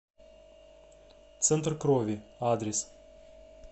центр крови адрес